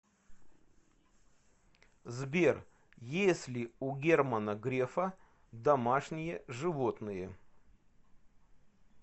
сбер есть ли у германа грефа домашние животные